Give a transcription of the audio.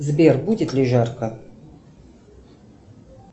сбер будет ли жарко